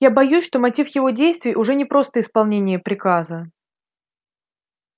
я боюсь что мотив его действий уже не просто исполнение приказа